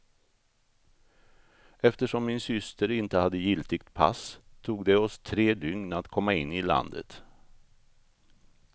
Eftersom min syster inte hade giltigt pass, tog det oss tre dygn att komma in i landet.